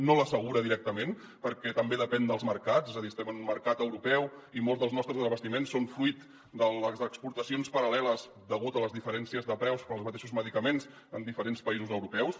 no l’assegura directament perquè també depèn dels mercats és a dir estem en un mercat europeu i molts dels nostres desabastiments són fruit de les exportacions paral·leles degut a les diferències de preus pels mateixos medicaments en diferents països europeus